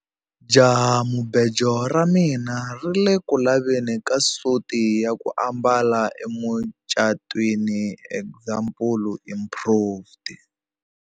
Jahamubejo ra mina ri ku le ku laveni ka suti ya ku ambala emucatwini example improved.